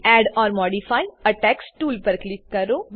add or modify a text tool પર click કરો